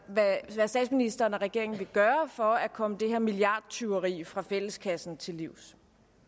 hvad statsministeren og regeringen vil gøre for at komme det her milliardtyveri fra fælleskassen til livs